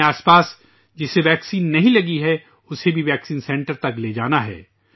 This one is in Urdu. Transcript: اپنے اردگرد جسے ویکسین نہیں لگی اسے بھی ویکسین سینٹر تک لے جانا ہے